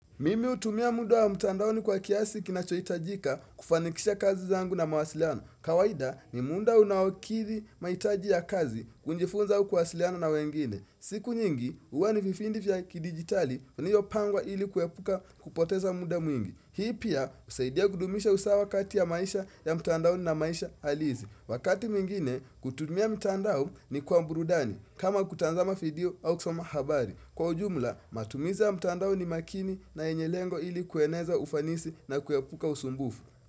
Mimi hutumia muda wa mtandaoni kwa kiasi kinachohitajika kufanikisha kazi zangu na mawasiliano. Kawaida ni muda unaokiri mahitaji ya kazi kujifunza au kuwasiliana na wengine. Siku nyingi, huwa ni vipindi vya kidigitali, iliyopangwa ili kuepuka kupoteza muda mwingi. Hii pia, husaidia kudumisha usawa kati ya maisha ya mtandaoni na maisha halisi. Wakati mwingine, kutumia mtandao ni kwa burudani, kama kutazama video au kusoma habari. Kwa ujumla matumizi ya mtandao ni makini na yenye lengo ili kueneza ufanisi na kuepuka usumbufu.